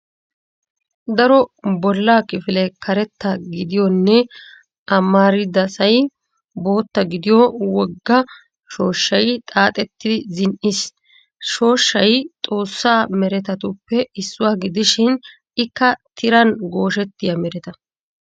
Daro bolla kifilee karetta gidiyonne amaridasay bootta gidiyo wogga shooshshay xaaxetti zin"is. Shooshshay xoossa meretatuppe issuwa gidishin ikka tiran gooshettiya mereta.